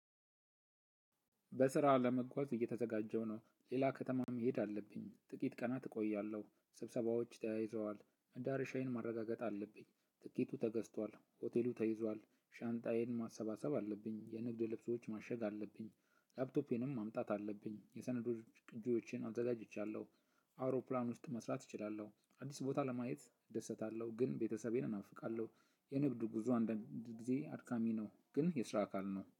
በስራ ለመጓዝ እየተዘጋጀሁ ነው ሌላ ከተማም መሄድ አለብኝ ጥቂት ቀናት እቆያለሁ። ስብሰባዎች ተያይዘዋል መዳረሻዬን ማረጋገጥ አለብኝ ትኬቱ ተገዝቷል ሆቴሉ ተይዟል ሻንጣዬን ማሰባሰብ አለብኝ የንግድ ልብሶች ማሸግ አለብኝ ላፕቶፔንም ማምጣት አለብኝ የሰነዶች ቅጂዎችን አዘጋጅቻለሁ። አውሮፕላን ውስጥ መስራት እችላለሁ አዲስ ቦታ ለማየት እደሰታለሁ። ግን ቤተሰቤን እናፍቃለሁ። የንግዱ ጉዞ አንድ ጊዜ አድካሚ ነው። ግን የስራ አካል ነው